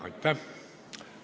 Aitäh!